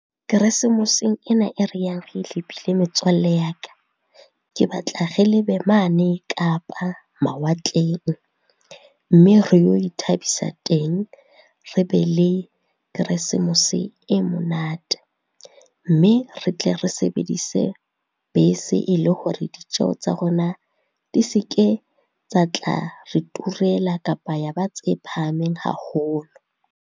Keresemoseng ena e re yang re e lebile metswalle ya ka. Ke batla re lebe mane Kapa, mawatleng. Mme re yo ithabisa teng, re be le keresemose e monate, mme re tle re sebedise bese e le hore ditjeho tsa rona di se ke tsa tla re turela kapa ya ba tse phahameng haholo.